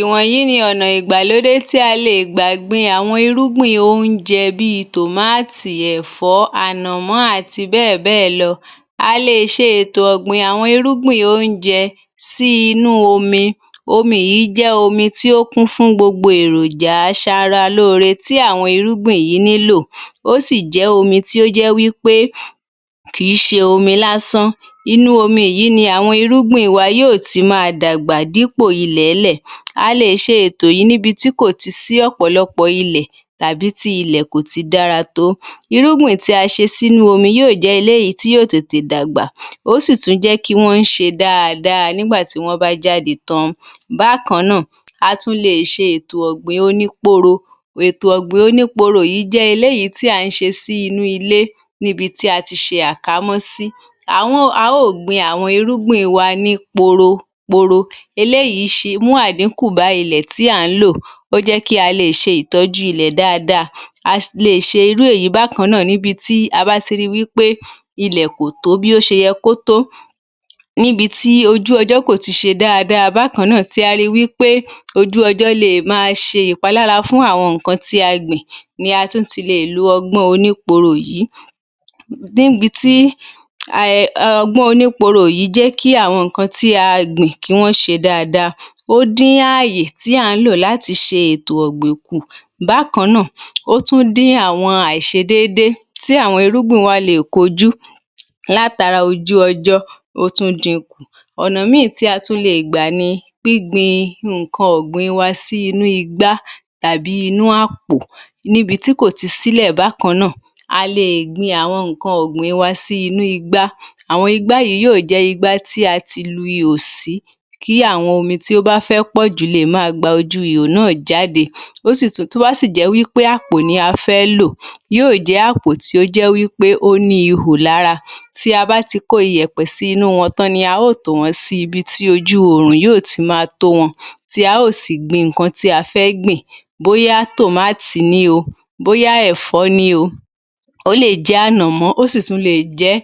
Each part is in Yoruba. Ìwọ̀nyí ni ọ̀nà ìgbàlódé tí a lè gbà gbin àwọn irúgbìn oúnjẹ bíi Tòmáàtì, ẹ̀fọ́, ànọ̀mọ́ àti bẹ́ẹ̀ bẹ́ẹ̀ lọ. A lè ṣe ètò ọ̀gbìn àwọn irúgbìn oúnjẹ sí inú omi. Omi yìí jẹ́ omi tí ó kún fún gbó èròjà aṣara lóore tí àwọn irúgbìn yìí nílò, ó sì jẹ́ omi tí ó jẹ́ wí pé kìí ṣe omi lásán. Inú omi yìí ni àwọn irúgbìn wa yóò ti máa dàgbà dípò ilẹ̀ẹ́lẹ̀. A lè ṣe ètò yìí níbi tí kò tì sí ọ̀pọ̀lọpọ̀ ilẹ̀ tàbí tí ilẹ̀ kò ti dára tó. Irúgbìn tí a ṣe sínú omi yóò jẹ́ eléyìí tí yóò tètè dàgbà, ó sì tún jẹ́ kí wọ́n ṣe dáadáa nígbà tí wọ́n bá jáde tán. Bákan náà, a tún lè ṣe ètò ọ̀gbìn oníporo. Ètò ọ̀gbìn oníporo yìí jẹ́ eléyìí tí à ń ṣe sí inú ilé, níbi tí a ti ṣe àkamọ́ sí. A ó gbin àwọn irúgbìn wa ní poro poro. Eléyìí mú àdíkùn bá ilẹ̀ tí à ń lò, ó jẹ́ kí a lè ṣe ìtọ́jú ilẹ̀ dáadáa. A lè ṣe irú èyí bákan náà níbi tí a bá ti ri wí pé ilẹ̀ kò tó bí ó ṣe yẹ kó tó. Níbi tí ojú ọjọ́ kò ti ṣe dáadáa bákan náà tí a le wí pé ojú ọjọ́ lè máa ṣe ìpalára fún àwọn nǹkan tí a gbìn ni a tún ti lè lo ọgbọ́n oníporo yìí. Níbi tí um ọgbọ́n òníporo yìí jẹ́ kí àwọn nǹkan tí a gbìn kí wọ́n ṣe dáadáa. Ó dín àyè tí à ń lò láti ṣe ètò ọ̀gbìn kù. Bákan náà, ó tún dín àìṣedédé tí àwọn irúgbìn wa lè kojú látara ojú ọjọ́, ó tún din kù. Ọ̀nà ìmí tí a tún lè gbà ni gbín gbin nǹkan ọ̀gbìn wa sínú igbá tàbí inú àpò níbi tí kò ti sílẹ̀ bákan náà. A lè gbin àwọn nǹkan ọ̀gbìn wa sí inú igbá. Àwọn igbá yìí yóò jẹ́ igbá tí a ti lu ihò sí, kí àwọn omi tí ó bá fẹ́ pọ̀ jù le máa gba ojú ihò náà jáde. Ó sì tún tó bá sì jẹ́ wí pé àpò ni a fẹ́ lò, yóò jẹ́ àpò tó ní ihò lára. Tí a bá ti kó iyẹ̀pẹ̀ sí inú wọn tán ni a ó tò wọn sí ibi tí ojú oòrùn yóò ti máa tó wọn, tí a ó sì gbin nǹkan tí a fẹ́ gbìn. Bóyá Tòmáàtì ní o, bóyá ẹ̀fọ́ ní o, ó lè jẹ́ ànọ̀mọ́, ó sì tún lè jẹ́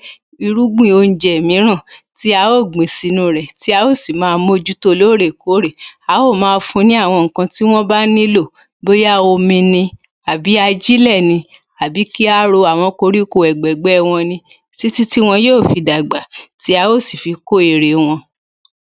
irúgbìn oúnjẹ mìíràn tí a ó gbìn sínú rẹ̀ tí a ó sì máa mójútó lóòrè kóòrè. A ó máa fún ní àwọn nǹkan tí wọ́n bá nílò bóyá omi ni, àbí ajílẹ̀ ni, àbí kí a ro àwọn koríko ẹ̀gbẹ̀gbẹ́ wọn ní, tí tí tí wọn yóò fi dàgbà, tí a ó sì fi kó èrè wọn.